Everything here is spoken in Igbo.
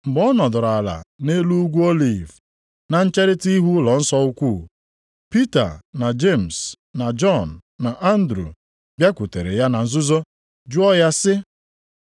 Mgbe ọ nọdụrụ ala nʼelu Ugwu Oliv, na ncherita ihu ụlọnsọ ukwu, Pita na Jemis, na Jọn na Andru bịakwutere ya na nzuzo jụọ ya sị,